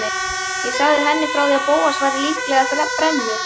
Ég sagði henni frá því að Bóas væri líklega brennu